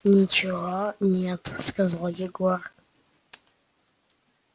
ничего нет сказал егор